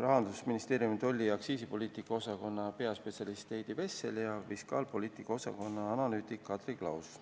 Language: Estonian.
Rahandusministeeriumi tolli- ja aktsiisipoliitika osakonna peaspetsialist Heidi Vessel ja fiskaalpoliitika osakonna analüütik Kadri Klaos.